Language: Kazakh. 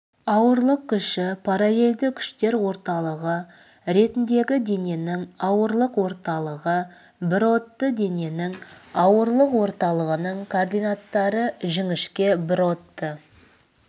ауырлық күші параллельді күштер орталығы ретіндегі дененің ауырлық орталығы бірродты дененің ауырлық орталығының координаттары жіңішке бірродты